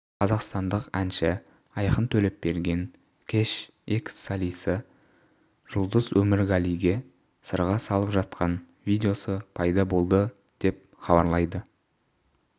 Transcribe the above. қазақстандық әнші айқын төлепберген кеш экс-солисі жұлдыз өмірғалиге сырға салып жатқан видеосы пайда болды деп хабарлайды